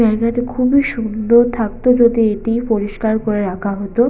জায়গাটা খুবই সুন্দর থাকতো যদি এটি পরিষ্কার করে রাখা হতো।